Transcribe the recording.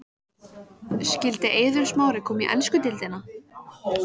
Skyldi Eiður Smári koma í ensku deildina?